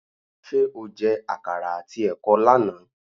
Ṣé o jẹ àkàrà àti ẹ̀kọ lánàá?